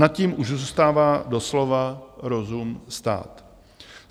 Nad tím už zůstává doslova rozum stát.